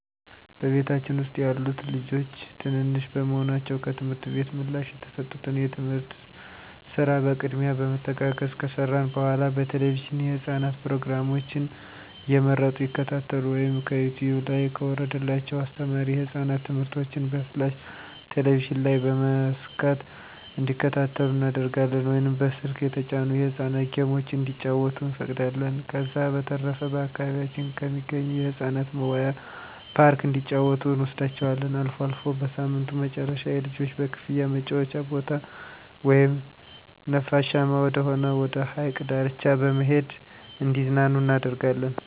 በቤታችን ውስጥ ያሉት ልጆች ትንንሽ በመሆናቸው ከትምህርት ቤት ምላሽ የተሰጡትን የቤት ስራ በቅድሚያ በመተጋገዝ ከሰራን በኃላ በቴለቪዥን የህፃናት ፕሮግራሞችን እየመረጡ ይከታተሉ ወይም ከዩቲውብ ላይ ከወረደላቸው አስተማሪ የህፃናት ትምህርቶችን በፍላሽ ቴሌቪዥን ላይ በመሰካት እንዲከታተሉ እናደርጋለን ወይም በስልክ የተጫኑ የህፃናት ጌሞችን እንዲጫወቱ እንፈቅዳለን። ከዛ በተረፈ በአካባቢያችን ከሚገኝ የህፃናት መዋያ ፓርክ እንዲጫወቱ እንወስዳቸዋለን። አልፎ አልፎ በሳምንቱ መጨረሻ የልጆች በክፍያ መጫወቻ ቦታ ወይም ነፋሻማ ወደሆነ ወደ ሀይቅ ዳርቻ በመሄድ እንዲዝናኑ እናደርጋለን።